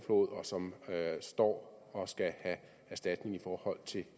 som står og skal have erstatning i forhold til